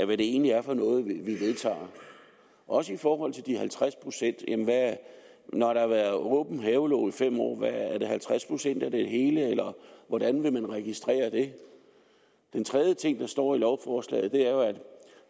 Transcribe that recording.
hvad det egentlig er for noget vi vedtager også i forhold til de halvtreds procent når der har været åben havelåge i fem år er det så halvtreds procent af det hele eller hvordan vil man registrere det den tredje ting der står i lovforslaget